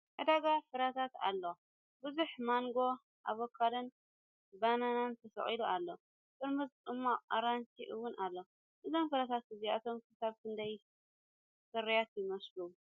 ዕዳጋ ፍረታት ኣሎ። ብዙሕ ማንጎ፡ ኣቮካዶን ባናናን ተሰቒሉ ኣሎ። ጥርሙዝ ጽማቝ ኣራንሺ እውን ኣሎ። እዞም ፍረታት እዚኣቶም ክሳብ ክንደይ ፍሩያት ይመስሉ?